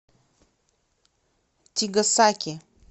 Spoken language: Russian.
тигасаки